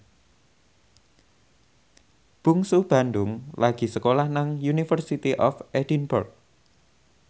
Bungsu Bandung lagi sekolah nang University of Edinburgh